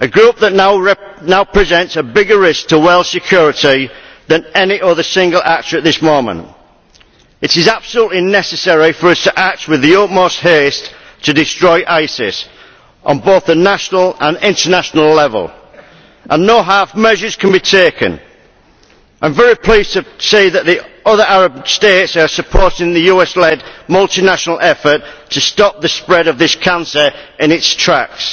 a group that now presents a bigger risk to world security than any other single actor at this moment. It is absolutely necessary for us to act with the utmost haste to destroy ISIS on both the national and international level, and no half measures can be taken. I am very pleased to see that the other Arab States are supporting the US led multinational effort to stop the spread of this cancer in its tracks.